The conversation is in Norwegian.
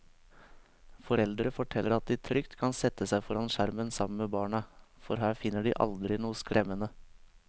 Foreldre forteller at de trygt kan sette seg foran skjermen sammen med barna, for her finner de aldri noe skremmende.